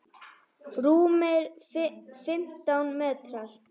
Rúmir fimmtán metrar.